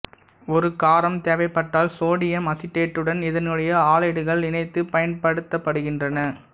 ஒரு காரம் தேவைப்பட்டால் சோடியம் அசிடேட்டுடன் இதனுடைய ஆலைடுகள் இணைத்து பயன்படுத்தப்படுகின்றன